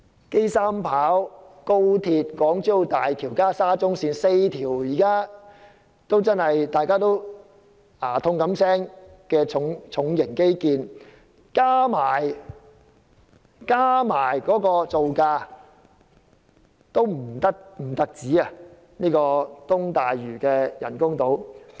機場第三條跑道、高速鐵路、港珠澳大橋及沙中線這4項令大家頭痛不已的重型基建，其造價的總和都不及東大嶼人工島的造價。